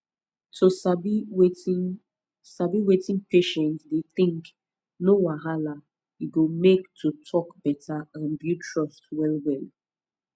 to sabi wetin sabi wetin patient dey think no wahala e go make to talk better and build trust well well